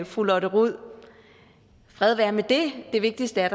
fru lotte rod fred være med det det vigtigste er